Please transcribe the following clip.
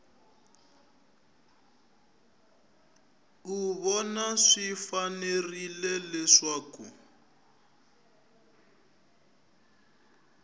u vona swi fanerile leswaku